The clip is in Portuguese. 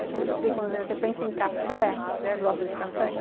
Eu sempre explico, quando você pensa em café, vocês gostam de café?